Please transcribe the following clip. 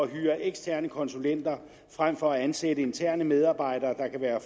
hyre eksterne konsulenter frem for at ansætte interne medarbejdere der kan være